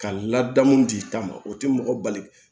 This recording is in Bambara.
Ka ladamu d'i ta ma o tɛ mɔgɔ bali